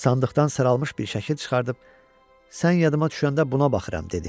Sandıqdan saralmış bir şəkil çıxarıb, “Sən yadıma düşəndə buna baxıram”, dedi.